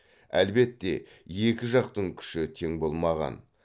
әлбетте екі жақтың күші тең болмаған